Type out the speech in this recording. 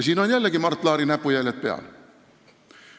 Siin on jällegi Mart Laari näpujäljed peal.